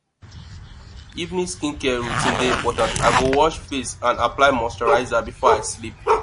evening skincare routine dey important i go wash face and apply moisturizer before i sleep